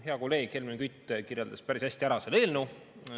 Hea kolleeg Helmen Kütt kirjeldas seda eelnõu päris hästi.